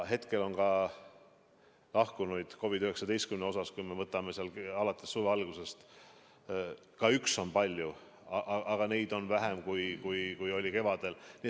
Hetkel on ka lahkunuid COVID-19 tõttu, kui me vaatame alates suve algusest – ka üks on muidugi palju –, vähem, kui oli kevadel.